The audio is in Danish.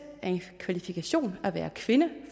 er en kvalifikation at være kvinde